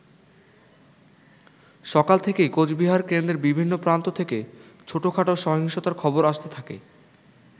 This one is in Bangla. সকাল থেকেই কোচবিহার কেন্দ্রের বিভিন্ন প্রান্ত থেকে ছোটখাটো সহিংসতার খবর আসতে থাকে।